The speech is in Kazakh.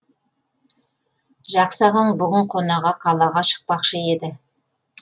жақсы ағаң бүгін қонаға қалаға шықпақшы еді